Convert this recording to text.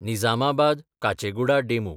Nizamabad Kacheguda DEMU